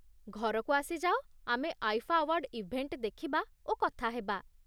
ଘରକୁ ଆସି ଯାଅ, ଆମେ ଆଇଫା ଆୱାର୍ଡ ଇଭେଣ୍ଟ ଦେଖିବା ଓ କଥା ହେବା।